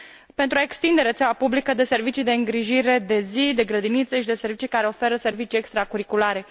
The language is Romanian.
pentru a extinde rețeaua publică de servicii de îngrijire de zi, de grădinițe și de servicii care oferă servicii extracurriculare?